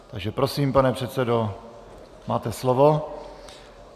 Takže prosím, pane předsedo, máte slovo.